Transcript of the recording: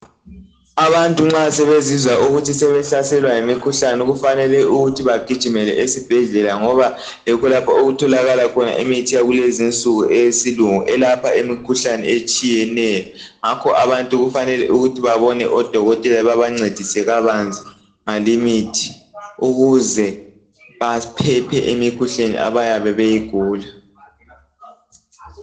abantu nxa sebezizwa ukuthi sebehlaselwa yimikhuhlane kufanele ukuthi bagijimele esibhedlela ngoba yikho lapho okutholakala khona imithi yakulezinsuku eyesilngu elapha imikhuhlane etshiyeneyo ngakho abantu kufanele ukuhi babone odokotela babancedise kabanzi ngalimithi ukuze baphephe emikhuhlaneni abayabe beyigula